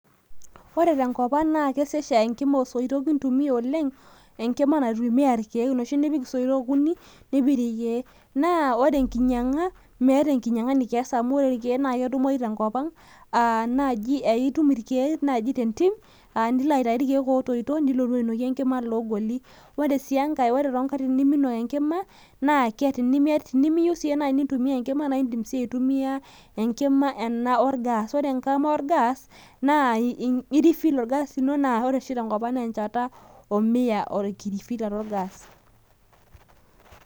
ore tenkop ang naa kesesh aa enkima oosoitok kintumia oleng. enkima naitumia irkeek, enoshi nipik isoitok okuni, nipik irkeek naa ore enkinyiang'a meeta enkinyianga nikias amu ore irkeek ketumoyu tenkop ang, naaji aa itum irkeek naaji tentim, nilo aitayu irkeek ootoito, nilotu ainokie enkima iloogoli. ore sii enkae ore too nkatitin neminok enkima, naa tenimiyieu sii naaji nintumia enkima naa idim sii aitumia enkima orgas, naa ore oshi tenkop ang naa enchata enkirifilata orgas.